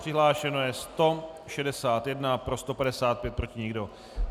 Přihlášeno je 161, pro 155, proti nikdo.